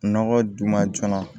Nɔgɔ dun ma joona